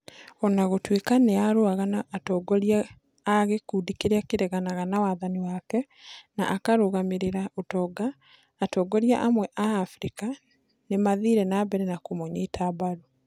O na gũtuĩka nĩ aarũaga na atongoria a gĩkundi kĩrĩa kĩareganaga na wathani wake na akarũgamĩrĩra ũtonga, atongoria amwe a Abirika nĩ maathire na mbere kũmũnyita mbaru.